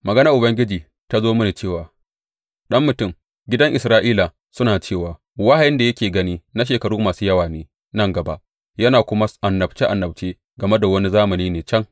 Maganar Ubangiji ta zo mini cewa, Ɗan mutum, gidan Isra’ila suna cewa, Wahayin da yake gani na shekaru masu yawa ne nan gaba, yana kuma annabce annabce game da wani zamani ne can.’